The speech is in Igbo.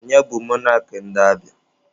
Onye bụ mọnak ndị Abịa?